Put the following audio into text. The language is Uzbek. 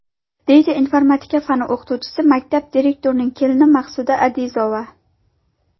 deydi informatika fani o‘qituvchisi, maktab direktorining kelini Maqsuda Adizova.